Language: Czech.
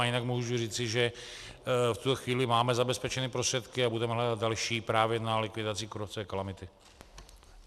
A jinak můžu říci, že v tuto chvíli máme zabezpečené prostředky a budeme hledat další právě na likvidaci kůrovcové kalamity.